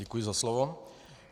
Děkuji za slovo.